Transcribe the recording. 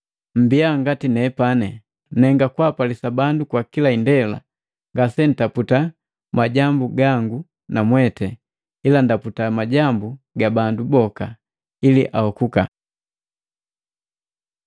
Mmbiya ngati nepani, nenga kwapalisa bandu kwa kila indela, ngasentaputa majambu gangu namweti ila ndaputa majambu ga bandu boka, ili ahokuka.